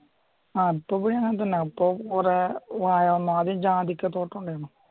അപ്പൊ പിന്നെ കൊറേ വായ വന്നു ആദ്യം ജാതിക്ക തോട്ടം ഉണ്ടാരുന്നു.